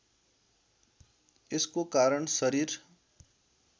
यसको कारण शरीर